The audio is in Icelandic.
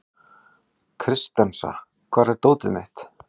Kristensa, hvar er dótið mitt?